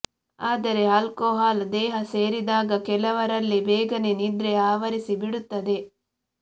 ಆದರೆ ಆಲ್ಕೊಹಾಲ್ ದೇಹ ಸೇರಿದಾಗ ಕೆಲವರಲ್ಲಿ ಬೇಗನೆ ನಿದ್ರೆ ಆವರಿಸಿ ಬಿಡುತ್ತದೆ